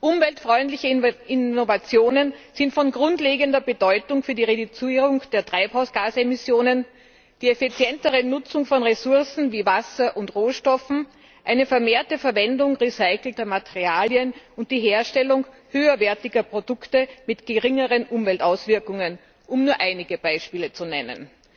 Umweltfreundliche Innovationen sind von grundlegender Bedeutung für die Reduzierung der Treibhausgasemissionen, die effizientere Nutzung von Ressourcen wie Wasser und Rohstoffen, eine vermehrte Verwendung recycelter Materialien und die Herstellung höherwertiger Produkte mit geringeren Umweltauswirkungen, um nur einige Beispiele zu nennen.